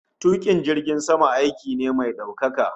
Tukin jirgin sama aiki ne mai daukaka